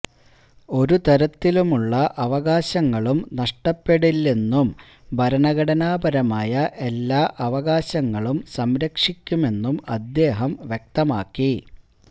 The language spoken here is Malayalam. ഒരു തരത്തിലുമുള്ള അവകാശങ്ങളും നഷ്ടപ്പെടില്ലെന്നും ഭരണഘടനാപരമായ എല്ലാ അവകാശങ്ങളും സംരക്ഷിക്കുമെന്നും അദ്ദേഹം വ്യക്തമാക്കി